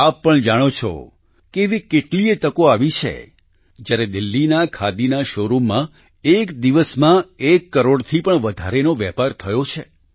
આપ પણ જાણો છો કે એવી કેટલીયે તકો આવી છે જ્યારે દિલ્હીના ખાદીના શોરૂમમાં એક દિવસમાં એક કરોડથી પણ વધારેનો વેપાર થયો છે